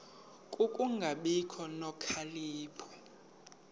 ku kungabi nokhalipho